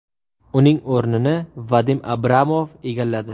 Uning o‘rnini Vadim Abramov egalladi .